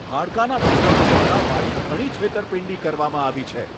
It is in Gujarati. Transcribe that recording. હાડકાના ડોકટરો દ્વારા મારી ઘણી છેતરપિંડી કરવામાં આવી છે.